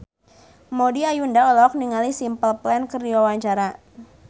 Maudy Ayunda olohok ningali Simple Plan keur diwawancara